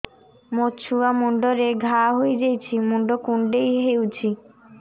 ମୋ ଛୁଆ ମୁଣ୍ଡରେ ଘାଆ ହୋଇଯାଇଛି ମୁଣ୍ଡ କୁଣ୍ଡେଇ ହେଉଛି